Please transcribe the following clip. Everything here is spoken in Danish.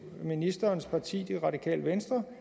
ministerens parti det radikale venstre